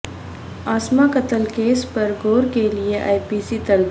عاصمہ قتل کیس پرغور کے لئے اے پی سی طلب